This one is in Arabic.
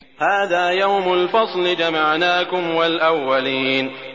هَٰذَا يَوْمُ الْفَصْلِ ۖ جَمَعْنَاكُمْ وَالْأَوَّلِينَ